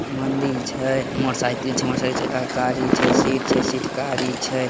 मंदिल छै मोटरसाइकिल छै मोटरसाइकिल चक्का के गाडी छे सीट छै सीट कारी छै।